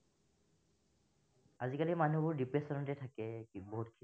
আজিকালি মানুহবোৰ depression তে থাকে গোটেইবোৰ।